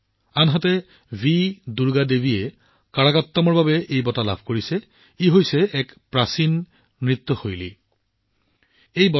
এই তালিকাখন কেৱল সংগীত শিল্পীসকলৰ সৈতে সম্পৰ্কিত নহয় ভি দুৰ্গা দেৱীজীয়ে প্ৰাচীন নৃত্য প্ৰকাৰ কাৰাকাট্টমৰ বাবে এই বঁটা লাভ কৰিছে